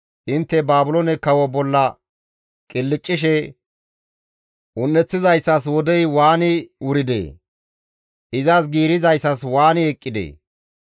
intte Baabiloone kawo bolla qilccishe, «Un7eththizayssas wodey waani wuridee? izas giirissizayssi waani eqqidee!